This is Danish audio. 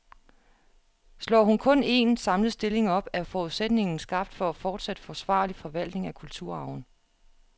Slår hun kun en, samlet stilling op, er forudsætningen skabt for fortsat forsvarlig forvaltning af kulturarven.